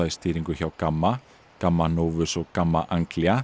í stýringu hjá GAMMA GAMMA novus og GAMMA